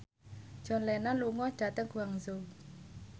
John Lennon lunga dhateng Guangzhou